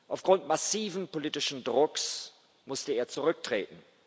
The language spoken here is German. Aufgrund massiven politischen Drucks musste er zurücktreten.